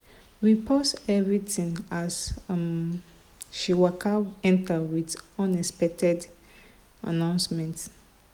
we pause everything as um she waka enter with unexpected announcement.